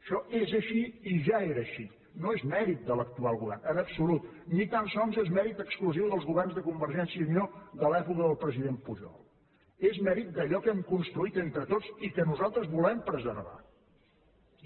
això és així i ja era així no és mèrit de l’actual govern en absolut ni tan sols és mèrit exclusiu dels governs de convergència i unió de l’època del president pujol és mèrit d’allò que hem construït entre tots i que nosaltres volem preservar